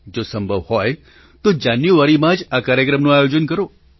જો સંભવ હોય તો જાન્યુઆરીમાં જ આ કાર્યક્રમનું આયોજન કરો